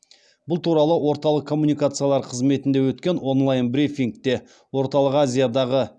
бұл туралы орталық коммуникациялар қызметінде өткен онлайн брифингте орталық азиядағы